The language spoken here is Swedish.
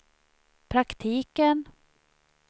praktiken